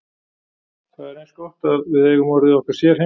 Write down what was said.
Það er eins gott að við eigum orðið okkar sérheimili.